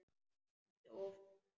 Ertu ófrísk?